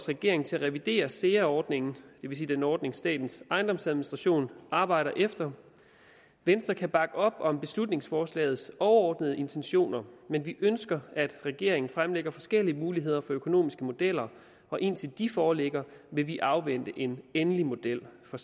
regeringen til at revidere sea ordningen det vil sige den ordning som statens ejendomsadministration arbejder efter venstre kan bakke op om beslutningsforslagets overordnede intentioner men vi ønsker at regeringen fremlægger forskellige muligheder for økonomiske modeller og indtil de foreligger vil vi afvente en endelig model for